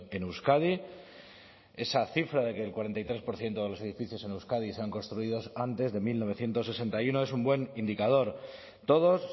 en euskadi esa cifra de que el cuarenta y tres por ciento de los edificios en euskadi se han construidos antes de mil novecientos sesenta y uno es un buen indicador todos